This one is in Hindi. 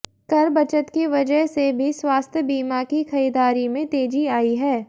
कर बचत की वजह से भी स्वास्थ्य बीमा की खरीदारी में तेजी आई है